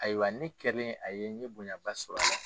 Ayiwa ne kɛlen a ye n ye bonya ba sɔrɔ a la.